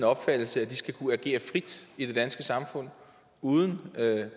opfattelse at de skal kunne agere frit i det danske samfund uden